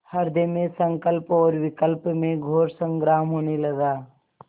हृदय में संकल्प और विकल्प में घोर संग्राम होने लगा